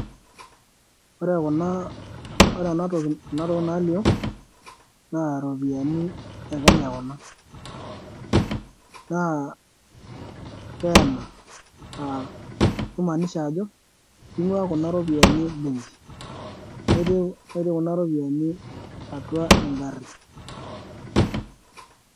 ore kunaa ore ena toki, kuna tokitin naalio naa ropiani e kenya kuna, naa keena aah kimaaniha ajo king'ua kuna ropiani em'benki, netii netii kuna ropiani atua en'gari.